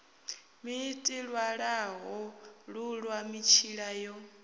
ḽiiti ṅwalaḽo ṱuṅwa mitshila yo